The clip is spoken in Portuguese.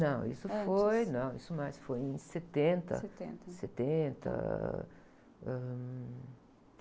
Não, isso foi...ntes?ão, isso, mais foi em setenta.etenta.etenta, ãh...